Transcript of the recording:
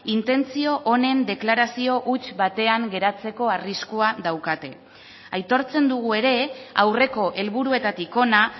intentzio honen deklarazio huts batean geratzeko arriskua daukate aitortzen dugu ere aurreko helburuetatik hona